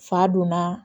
Fa donna